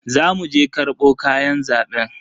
Za mu je karbo kayan zaben.